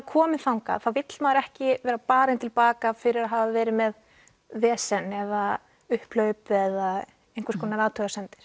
kominn þangað þá vill maður ekki barinn til baka fyrir að hafa verið með vesen eða upphlaup eða einhvers konar athugasemdir